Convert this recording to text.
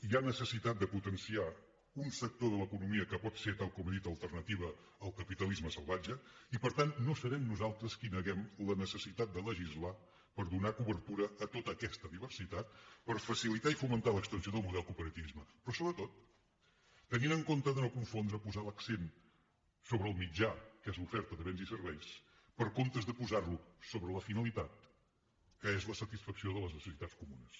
hi ha necessitat de potenciar un sector de l’economia que pot ser tal com he dit alternativa al capitalisme salvatge i per tant no serem nosaltres qui neguem la necessitat de legislar per donar cobertura a tota aquesta diversitat per facilitar i fomentar l’extensió del model de cooperativisme però sobretot tenint en compte de no confondre posar l’accent sobre el mitjà que és l’oferta de béns i serveis en lloc de posar lo sobre la finalitat que és la satisfacció de les necessitats comunes